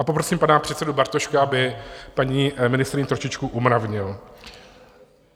A poprosím pana předsedu Bartošku, aby paní ministryni trošičku umravnil.